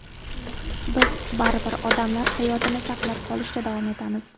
Biz baribir odamlar hayotini saqlab qolishda davom etamiz.